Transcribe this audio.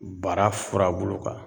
Bara furabulu kan